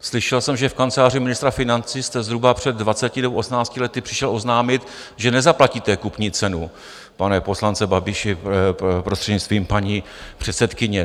Slyšel jsem, že v kanceláři ministra financí jste zhruba před 20 nebo 18 lety přišel oznámit, že nezaplatíte kupní cenu, pane poslanče Babiši, prostřednictvím paní předsedkyně.